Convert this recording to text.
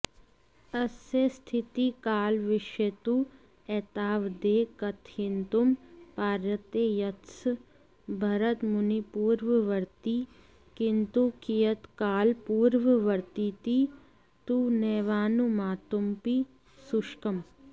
अस्य स्थितिकालविषये तु एतावदेव कथयितुं पार्यते यत्स भरतमुनिपूर्ववर्ती किन्तु कियत्कालपूर्ववर्तीति तु नैवानुमातुमपि सुशकम्